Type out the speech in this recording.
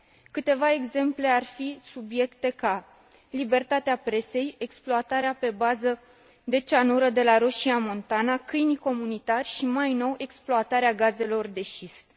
Câteva exemple ar fi subiecte ca libertatea presei, exploatarea pe bază de cianură de la Roșia Montană, câinii comunitari și, mai nou, exploatarea gazelor de șist.